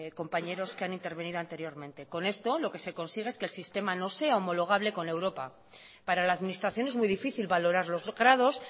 compañeros que han intervenido anteriormente con esto lo que se consigue es que el sistema homologable con europa para la administración es muy difícil valorar los grados